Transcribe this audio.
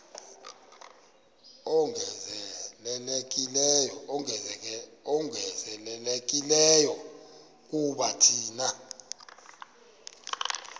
ongezelelekileyo kuba thina